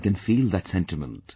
One can feel that sentiment